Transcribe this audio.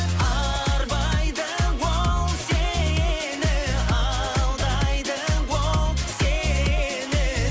арбайды ол сені алдайды ол сені